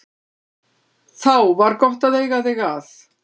Þá var gott að eiga þig að.